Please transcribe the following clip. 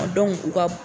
u ka